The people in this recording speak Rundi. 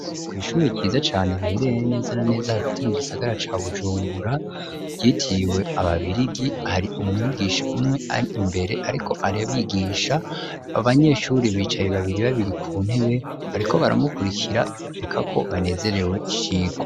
Kw'ishure ryiza cane rihererere neza na neza hagati mu gisagara ca bujumbura ryitiriwe ababirigi hari umwigisha umwe ar imbere ariko ar'abigisha abanyeshure bicaye babiri babiri ku ntebe bariko baramukurikirana bibonekako banezerewe n'icigwa.